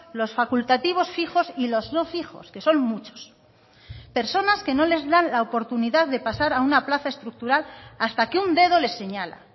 los facultativos fijos y los no fijos que son muchos personas que no les dan la oportunidad de pasar a una plaza estructural hasta que un dedo les señala